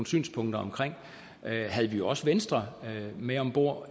synspunkter om havde vi jo også venstre med om bord